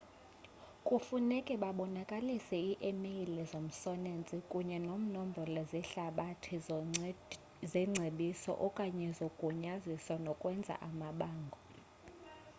kufuneka babonakalise i emeyile zomsholensi kunye nemnombolo zehlabathi zengcebiso/okanye zogunyaziso nokwenza amabango